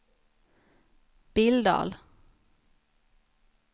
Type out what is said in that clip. Billdal